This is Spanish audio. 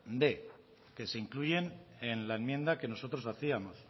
quinientos que se incluyen en la enmienda que nosotros hacíamos